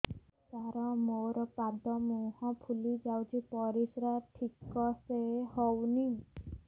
ସାର ମୋରୋ ପାଦ ମୁହଁ ଫୁଲିଯାଉଛି ପରିଶ୍ରା ଠିକ ସେ ହଉନି